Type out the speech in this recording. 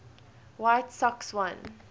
white sox won